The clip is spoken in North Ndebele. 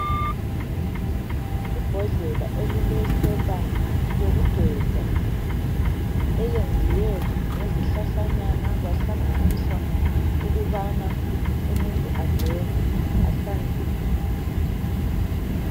Ibhodlela elilesepa yokugeza eyenziwe ngezihlahlanyana kwahlanganiswa ukubana umuntu ageze ahlanzeke.